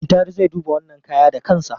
Muntari zai duba wannan kaya da kansa.